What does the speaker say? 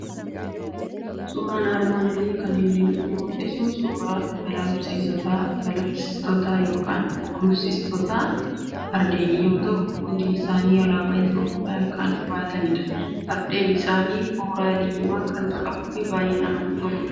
Suuraan armaan olii kan inni nutti mul'isu suuraa gaallabsiistota yookiin gulufsiistota fardeenii yoo ta'u, hundi isaanii alaabaa Itoophiyaa kan baatanidha. Fardeen isaanii kooraa diimaa kan qabuu fi baay'ee namatti tolu.